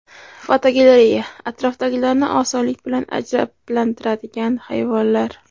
Fotogalereya: Atrofdagilarni osonlik bilan ajablantiradigan hayvonlar.